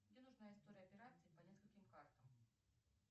мне нужна история операций по нескольким картам